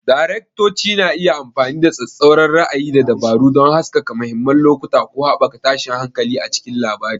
Daraktoci na iya amfani da tsattsauran ra'ayi da dabaru don haskaka mahimman lokuta ko haɓaka tashin hankali a cikin labari.